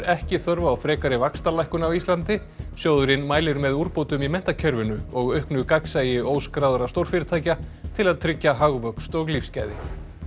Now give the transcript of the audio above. ekki þörf á frekari vaxtalækkun á Íslandi sjóðurinn mælir með úrbótum í menntakerfinu og auknu gagnsæi óskráðra stórfyrirtækja til að tryggja hagvöxt og lífsgæði